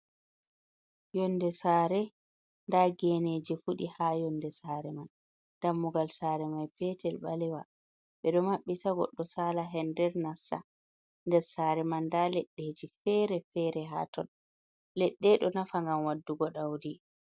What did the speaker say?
Yonde saare nda geneji fuɗi ha yonde saare man dammugal saare mai peetel ɓalewa, ɓe ɗo mabbita goɗɗo saala her nder nassa nder saare man nda leɗɗeji fere- fere ha ton leɗɗe ɗo nafa ngam waɗugo ɗaudi.